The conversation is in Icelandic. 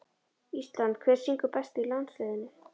Ísland Hver syngur best í landsliðinu?